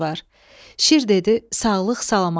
Şir dedi: Sağlıq, salamatlıq.